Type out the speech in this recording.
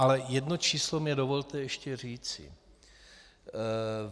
Ale jedno číslo mi dovolte ještě říci.